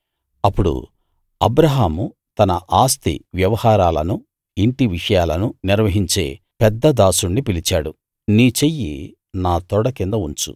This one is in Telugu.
అప్పుడు అబ్రాహాము తన ఆస్తి వ్యవహారాలనూ ఇంటి విషయాలనూ నిర్వహించే పెద్ద దాసుడిని పిలిచాడు నీ చెయ్యి నా తొడ కింద ఉంచు